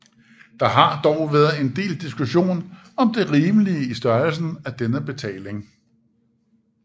Der har dog været en del diskussion om det rimelige i størrelsen af denne betaling